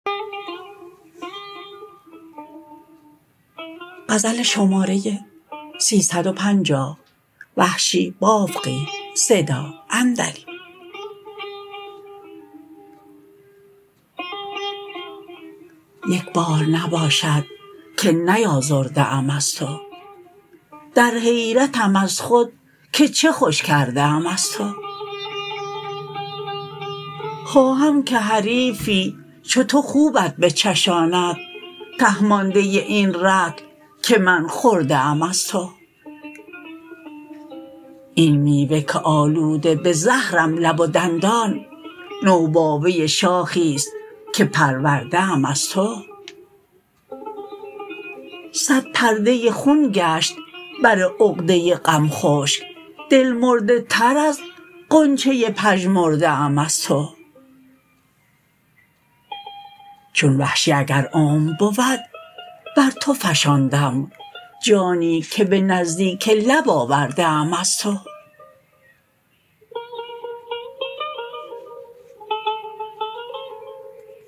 یک بار نباشد که نیازرده ام از تو در حیرتم از خود که چه خوش کرده ام از تو خواهم که حریفی چو تو خوبت بچشاند ته مانده این رطل که من خورده ام از تو این میوه که آلوده به زهرم لب و دندان نوباوه شاخی ست که پرورده ام از تو سد پرده خون گشت بر عقده غم خشک دل مرده تر از غنچه پژمرده ام از تو چون وحشی اگر عمر بود بر تو فشاندم جانی که به نزدیک لب آورده ام از تو